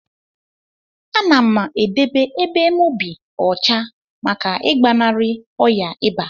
Anam edebe ebe mu bi ọcha maka igbanari ọya iba.